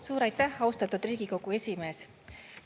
Suur aitäh, austatud Riigikogu esimees!